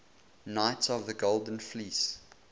knights of the golden fleece